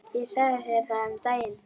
Ég sagði þér það um daginn.